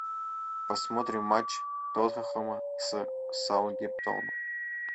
посмотрим матч тоттенхэма с саутгемптоном